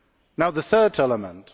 Now the third element.